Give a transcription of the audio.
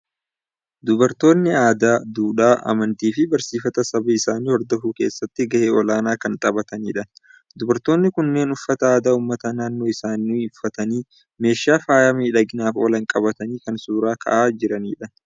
Dubartoonni aadaa, duudhaa, amantii fi barsiifata saba isaanii hordofuu keessatti gahee olaanaa kan taphatanidha. Dubartoonni kunneen uffata aadaa uummata naannoo isaanii uffatanii, meeshaa faaya miidhaginaaf oolan qabatanii kan suuraa ka'anii jiranidha.